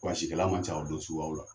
ma ca o don suguyaw la.